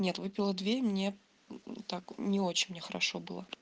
нет выпила две и мне мм так не очень мне хорошо было